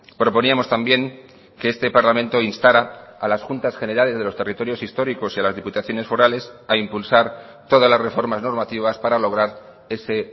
proponíamos también que este parlamento instara a las juntas generales de los territorios históricos y a las diputaciones forales a impulsar todas las reformas normativas para lograr ese